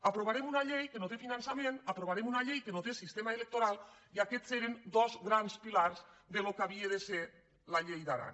aprovarem una llei que no té finançament aprova·rem una llei que no té sistema electoral i aquests eren dos grans pilars del que havia de ser la llei d’aran